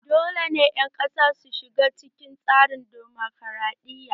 Dole ne dukkan ƴan kasa su shiga cikin tsarin damokaraɗiya!